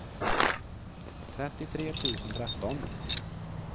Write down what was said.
trettiotre tusen tretton